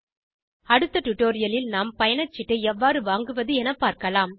அடுத்த டுடோரியலில் நாம் பயணச்சீட்டை எவ்வாறு வாங்குவது என பார்க்கலாம்